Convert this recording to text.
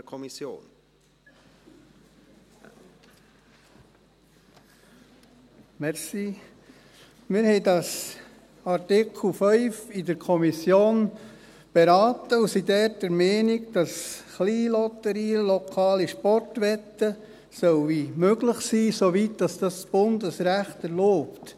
der SiK. Wir haben den Artikel 5 in der Kommission beraten und sind dort der Meinung, dass Kleinlotterien und lokale Sportwetten möglich sein sollen, soweit dies das Bundesrecht erlaubt.